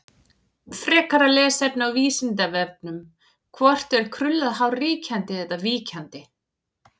Frekara lesefni á Vísindavefnum: Hvort er krullað hár ríkjandi eða víkjandi?